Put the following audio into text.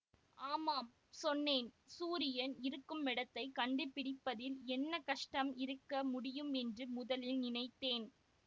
ஆமாம் சொன்னேன் சூரியன் இருக்குமிடத்தைக் கண்டுபிடிப்பதில் என்ன கஷ்டம் இருக்க முடியுமென்று முதலில் நினைத்தேன்